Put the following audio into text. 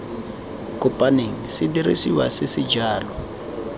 kopaneng sedirisiwa se se jalo